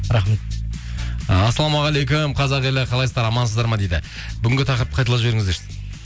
рахмет і ассалаумағалейкум қазақ елі қалайсыздар амансыздар ма дейді бүгінгі тақырыпты қайталап жіберіңіздерші дейді